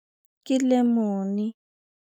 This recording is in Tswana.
Ke lemone.